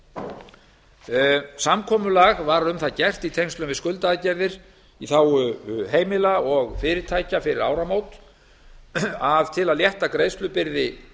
samkomulag var um það gert í tengslum við skuldaaðgerðir í þágu heimila og fyrirtækja fyrir áramót að til að létta greiðslubyrði